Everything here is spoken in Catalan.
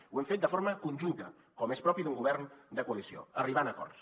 ho hem fet de forma conjunta com és propi d’un govern de coalició arribant a acords